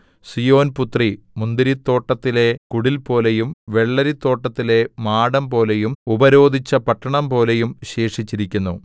സീയോൻപുത്രി മുന്തിരിത്തോട്ടത്തിലെ കുടിൽപോലെയും വെള്ളരിത്തോട്ടത്തിലെ മാടംപോലെയും ഉപരോധിച്ച പട്ടണംപോലെയും ശേഷിച്ചിരിക്കുന്നു